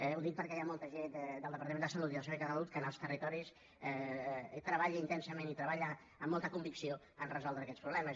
ho dic perquè hi ha molta gent del departament de salut i del servei català de la salut que en els territoris treballa intensament i treballa amb molta convicció a resoldre aquests problemes